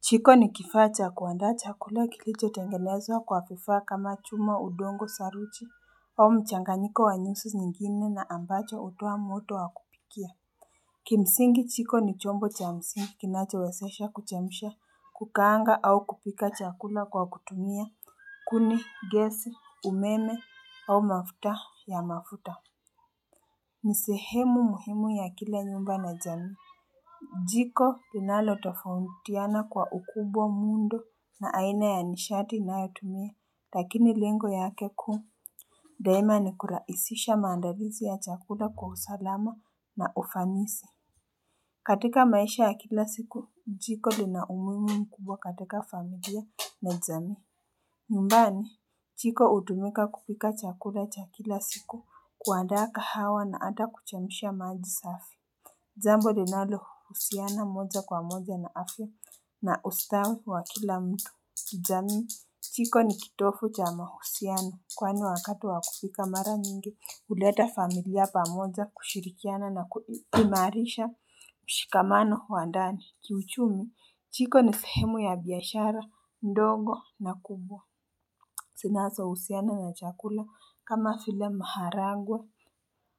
Jiko ni kifaa cha kuanda chakula kilicho tengenezwa kwa vifaa kama chuma udongo saruji au mchanganiko wa nyusi zingine na ambacho hutoa moto wa kupikia Kimsingi jiko ni chombo cha msingi kinacho wezesha kuchemsha kukaanga au kupika chakula kwa kutumia kuni gesi umeme au mafuta ya mafuta ni sehemu muhimu ya kila nyumba na jamii jiko linalotofautiana kwa ukubwa muundo na aina ya nishati inayotumia, lakini lengo yake kuu daima ni kurahisisha maandalizi ya chakula kwa usalama na ufanisi. Katika maisha ya kila siku, jiko lina umuhimu mkubwa katika familia na jamii. Nyumbani, jiko hutumika kupika chakula cha kila siku kuandaa kahawa na hata kuchemsha maji safi. Jambo linalo husiana moja kwa moja na afya na ustawi wa kila mtu jamii jiko ni kitovu cha mahusiana kwani wakati wa kupika mara nyingi huleta familia pamoja kushirikiana na kuimarisha mshikamano wa ndani kiuchumi jiko ni sehemu ya biashara ndogo na kubwa zinazohusiana na chakula kama vile maharangwe,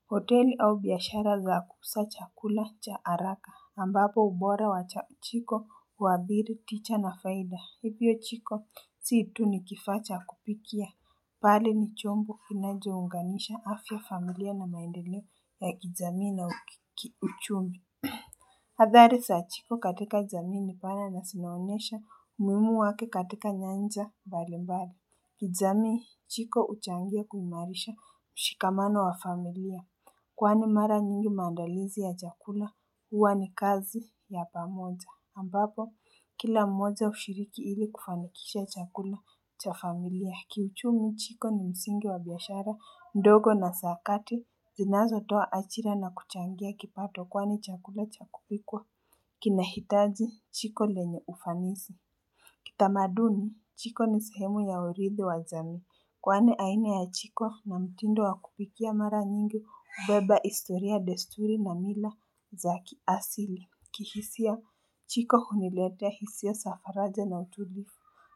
hoteli au biashara za kuuza chakula cha haraka, ambapo ubora wa jiko huwadhiri licha na faida. Hivyo jiko, si tu ni kifaa cha kupikia. Mbali ni chombo kinacho unganisha afya familia na maendeleo ya kijamii na uchumi. Adhari saa jiko katika jamii ni pana na zinaonyesha umuhimu wake katika nyanja mbali mbali. Kijamii jiko huchangia kuimarisha mshikamano wa familia Kwani mara nyingi mandalizi ya chakula huwa ni kazi ya pamoja ambapo kila mmoja hushiriki ili kufanikisha chakula cha familia Kiuchumi jiko ni msingi wa biashara ndogo na za kati zinazooa ajira na kuchangia kipato kwani chakula cha kupikwa kinahitaji jiko lenye ufanisi Kitamaduni, jiko ni sehemu ya urithi wa jamii Kwani aina ya jiko na mtindo wa kupikia mara nyingi hubeba historia desturi na mila za kiasili. Kihisia, jiko huniletea hisia za faraja na utulivu.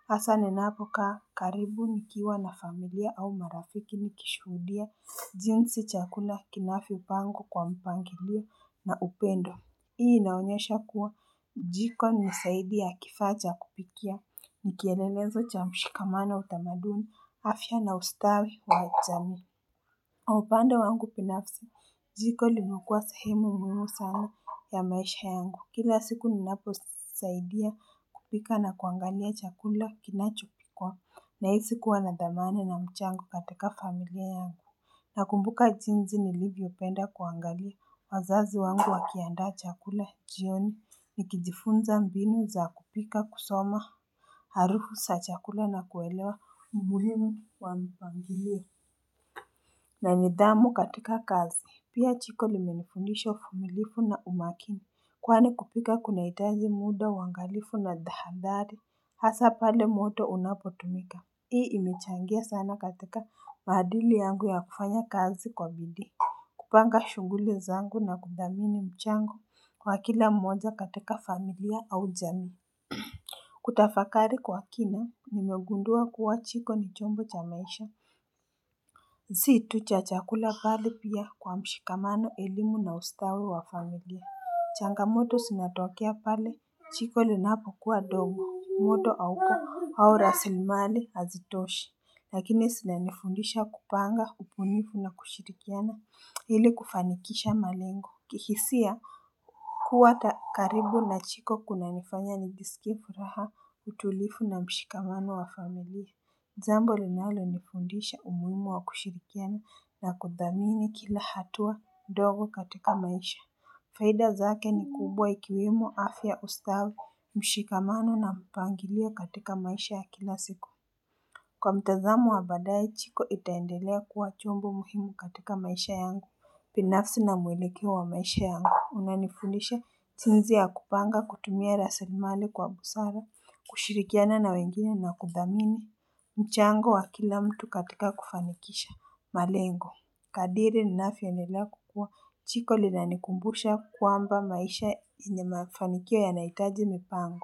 Hasaa ninapokaa, karibu nikiwa na familia au marafiki nikishuhudia jinsi chakula kinavyopangwa kwa mpangilio na upendo. Hii inaonyesha kuwa, Jiko ni zaidi ya kifaa cha kupikia, nikielelezo cha mshikamano utamaduni, afya na ustawi wa jamii. Kwa upande wangu binafsi, Jiko limekua sehemu muhimu sana ya maisha yangu. Kila siku ninapo saidia kupika na kuangalia chakula kinachopikwa, nahisi kuwa na dhamana na mchango katika familia yangu. Nakumbuka jinsi nilivyopenda kuangalia wazazi wangu wakiandaa chakula jioni ni kijifunza mbinu za kupika kusoma Harufu za chakula na kuwelewa umuhimu wa mpangilio na ni dhamu katika kazi Pia jiko limenifundisha uvumilivu na umakini kwani kupika kunahitaji muda angalifu na tahadhari Hasa pale moto unapotumika Hii imechangia sana katika mahadili yangu ya kufanya kazi kwa bidi. Kupanga shughuli zangu na kudhamini mchango kwa kila mmoja katika familia au jamii. Kutafakari kwa kina, nimegundua kuwa jiko ni chombo cha maisha. Si tu cha chakula mbali pia kwa mshikamano elimu na ustawi wa familia. Changamoto zinatokea pale, jiko linapo kuwa ndogo, moto hauko au raslimali hazitoshi. Lakini zinanifundisha kupanga, ubunifu na kushirikiana. Ili kufanikisha malengo kihisia kuwa karibu na jiko kunanifanya nijsikie furaha utulivu na mshikamano wa familia. Jambo linalo nifundisha umuhimu wa kushirikiana na kudhamini kila hatua ndogo katika maisha. Faida zake ni kubwa ikiwemo afya ustawi, mshikamano na mpangilio katika maisha ya kila siku. Kwa mtazamo wa baadae jiko itaendelea kuwa chombo muhimu katika maisha yangu binafsi na mwelekeo wa maisha yangu unanifundisha jinsi ya kupanga kutumia raslimali kwa busara kushirikiana na wengine na kudhamini mchango wa kila mtu katika kufanikisha malengo Kadiri ninavyoendelea kukua jiko linanikumbusha kwamba maisha yenye mafanikio yanahitaji mipango.